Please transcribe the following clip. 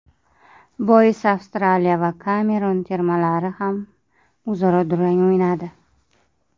Boisi Avstraliya va Kamerun termalari ham o‘zaro durang o‘ynadi.